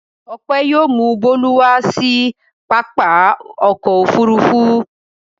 Ọpẹ́ yóò mú Bólú wá sí pápá ọkọ̀-òfurufú.